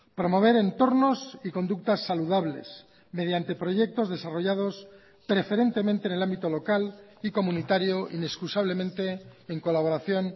promover entornos y conductas saludables mediante proyectos desarrollados preferentemente en el ámbito local y comunitario inexcusablemente en colaboración